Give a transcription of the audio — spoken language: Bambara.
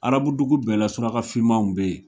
Arabu dugu bɛɛ la suraka fimaw be ye